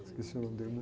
Esqueci o nome dele, né?